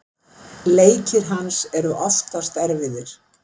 Leikir hans eru oftast erfiðir.